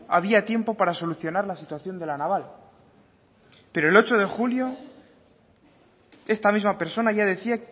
había tiempo para solucionar la situación de la naval pero el ocho de julio esta misma persona ya decía